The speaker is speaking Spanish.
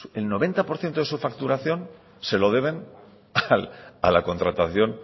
el noventa por ciento de su facturación se lo deben a la contratación